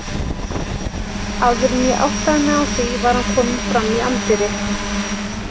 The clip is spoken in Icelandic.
Áður en ég áttaði mig á því var hann kominn fram í anddyri.